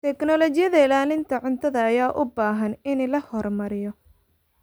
Tignoolajiyada ilaalinta cuntada ayaa u baahan in la horumariyo.